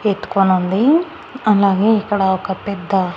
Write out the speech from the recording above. ఎత్తుకోనుంది అలాగే ఇక్కడ ఒక పెద్ద--